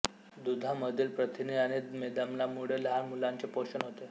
दुधामधील प्रथिने आणि मेदाम्लामुळे लहान मुलांचे पोषण होते